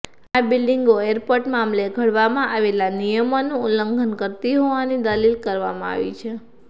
આ બિલ્ડીંગો એરપોર્ટ મામલે ઘડવામાં આવેલા નિયમોનું ઉલ્લંઘન કરતી હોવાની દલીલ કરવામાં આવી છે